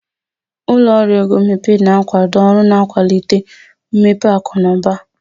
Ụlọ ọrụ ego mmepe na-akwado ọrụ na-akwalite mmepe akụ na ụba.